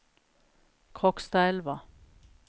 Krokstadelva